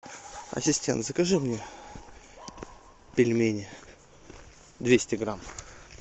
ассистент закажи мне пельмени двести грамм